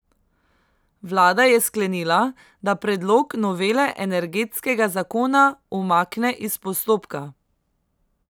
Vlada je sklenila, da predlog novele energetskega zakona umakne iz postopka.